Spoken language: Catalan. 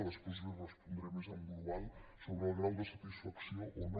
després li respondré més en global sobre el grau de satisfacció o no